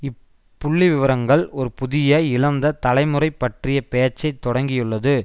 இப்புள்ளிவிவரங்கள் ஒரு புதிய இழந்த தலைமுறை பற்றிய பேச்சை தொடக்கியுள்ளது